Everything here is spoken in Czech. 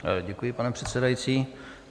Děkuji, pane předsedající.